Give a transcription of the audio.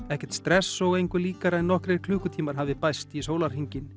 ekkert stress og engu líkara en að nokkrir klukkutímar hafi bæst við sólahringinn